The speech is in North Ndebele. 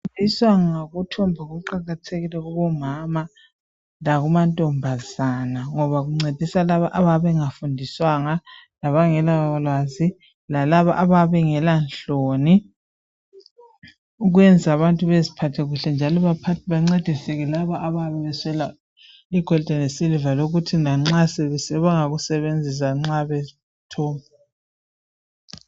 Ukufundiswa ngokuthomba kuqakathekile kubomama lakumantombazana, ngoba kuncedisa labo abayabe bengafundiswanga. Labangelalwazi, lalabo abayabe bengalanhloni. Ukwenza abantu baziphathe kuhle, njalo bancediseke labo, abayabe beswele igolide lesiliva. Sebengakusebenzisa nxa bethunga.